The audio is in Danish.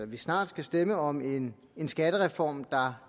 vi snart skal stemme om en skattereform der